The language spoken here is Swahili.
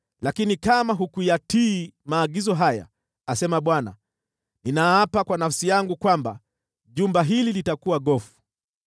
Lakini kama hutayatii maagizo haya, asema Bwana , ninaapa kwa nafsi yangu kwamba jumba hili litakuwa gofu.’ ”